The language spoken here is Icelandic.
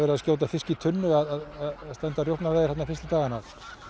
að skjóta fisk í tunnu að stunda rjúpnaveiðar fyrstu dagana